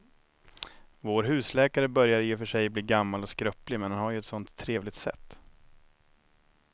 Vår husläkare börjar i och för sig bli gammal och skröplig, men han har ju ett sådant trevligt sätt!